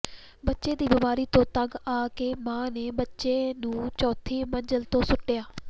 ਬੱਚੇ ਦੀ ਬਿਮਾਰੀ ਤੋਂ ਤੰਗ ਆ ਕੇ ਮਾਂ ਨੇ ਬੱਚੇ ਨੂੰ ਚੌਥੀ ਮੰਜ਼ਲ ਤੋਂ ਸੁੱਟਿਆ